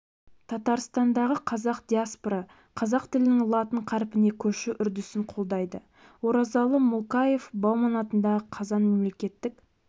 татарстандағы қазақ диаспорасы қазақ тілінің латын қарпіне көшу үдерісін қолдайды оразалы муллакаев бауман атындағы қазан мемлекеттік